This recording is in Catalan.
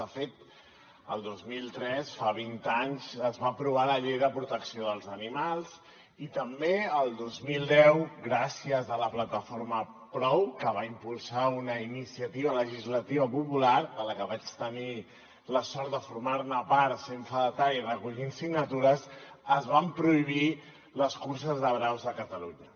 de fet el dos mil tres fa vint anys es va aprovar la llei de protecció dels animals i també el dos mil deu gràcies a la plataforma prou que va impulsar una iniciativa legislativa popular de la que vaig tenir la sort de formar part sent fedatari i recollint signatures es van prohibir les curses de braus a catalunya